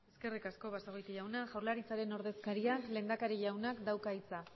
eskerrik asko basagoiti jauna jaurlaritzaren ordezkariak lehendakari jaunak dauka hitza